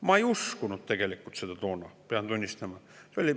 Ma tegelikult ei uskunud seda toona, pean tunnistama.